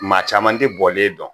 Maa caman tɛ bɔlen dɔn